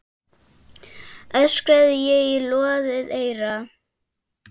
öskraði ég í loðið eyra.